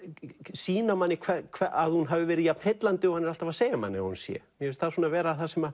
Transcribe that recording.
sýna manni að hún hafi verið jafn heillandi og hann er alltaf að segja manni að hún sé mér finnst það vera það sem